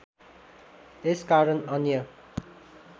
यस कारण अन्य